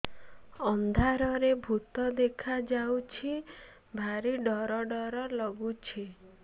ଅନ୍ଧାରରେ ଭୂତ ଦେଖା ଯାଉଛି ଭାରି ଡର ଡର ଲଗୁଛି